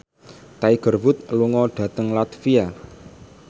Tiger Wood lunga dhateng latvia